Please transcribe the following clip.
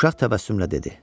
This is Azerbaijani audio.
Uşaq təbəssümlə dedi: